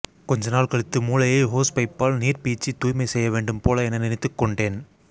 கொஞ்சநாள் கழித்து மூளையை ஹோஸ்பைப்பால் நீர் பீய்ச்சி தூய்மை செய்யவேண்டும் போல என நினைத்துக்கொண்டேன்